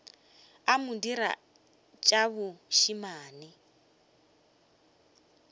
a mo dira tša bošemane